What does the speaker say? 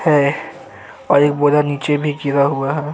है और एक बोरा नीचे भी गिर हुआ है।